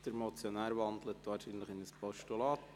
– Der Motionär wandelt wahrscheinlich in ein Postulat.